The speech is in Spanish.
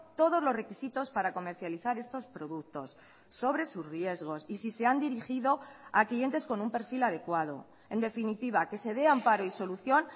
todos los requisitos para comercializar estos productos sobre sus riesgos y si se han dirigido a clientes con un perfil adecuado en definitiva que se dé amparo y solución